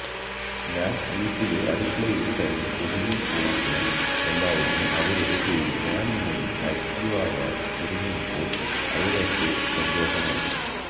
ഞാന് വീട്ടിലെ അടുക്കളയില് തന്നെ ഒതുങ്ങി പോവുമോ എന്നായിരുന്നു അവരുടെ പേടി ഞാനിങ്ങനെ ആക്ടീവാവാന് തുടങ്ങിയപ്പോള് അവര്ക്കൊക്കെ സന്തോഷമായി